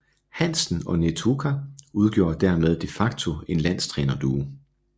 Hansen og Netuka udgjorde dermed de facto en landstrænerduo